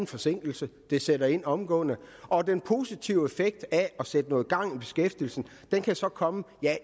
forsinkelse det sætter ind omgående og den positive effekt af at sætte noget gang i beskæftigelsen kan så komme